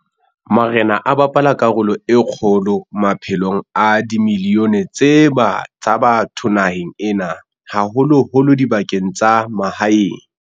Marena a bapala karolo e kgolo maphelong a dimilione tsa batho naheng ena, haholo-holo dibakeng tsa mahaeng.